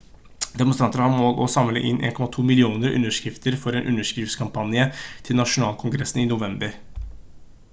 demonstranter har som mål å samle inn 1,2 millioner underskrifter for en underskriftskampanje til nasjonalkongressen i november